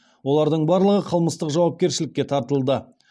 олардың барлығы қылмыстық жауапкершілікке тартылды